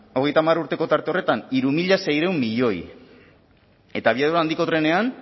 hogeita hamar urteko tarte horretan hiru mila seiehun milioi eta abiadura handiko trenean